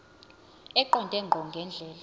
eqonde ngqo ngendlela